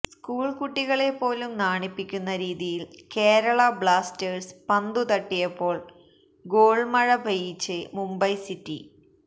school കുട്ടികളെ പോലും നാണിപ്പിക്കുന്ന രീതിയില് കേരള ബ്ലാസ്റ്റേഴ്സ് പന്തുതട്ടിയപ്പോള് ഗോള്മഴ പെയ്യിച്ച് മുംബൈ സിറ്റി